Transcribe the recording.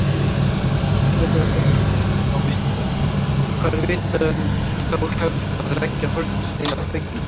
Frekara lesefni á Vísindavefnum: Hvað er vitað um þá hefð að leggja hornsteina að byggingum?